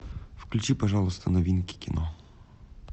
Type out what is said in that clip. включи пожалуйста новинки кино